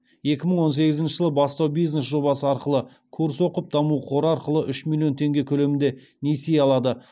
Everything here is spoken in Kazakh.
екі мың он сегізінші жылы бастау бизнес жобасы арқылы курс оқып даму қоры арқылы үш миллион теңге көлемінде несие алады